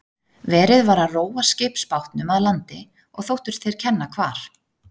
Verið var að róa skipsbátnum að landi og þóttust þeir kenna hvar